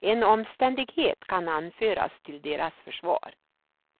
En omständighet kan anföras till deras försvar.